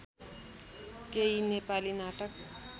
केही नेपाली नाटक